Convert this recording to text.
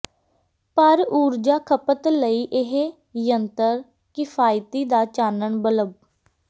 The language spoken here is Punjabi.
ਪਰ ਊਰਜਾ ਖਪਤ ਲਈ ਇਹ ਯੰਤਰ ਕਿਫ਼ਾਇਤੀ ਦਾ ਚਾਨਣ ਬਲਬ